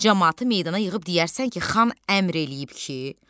Camaatı meydana yığıb deyərsən ki, xan əmr eləyib ki,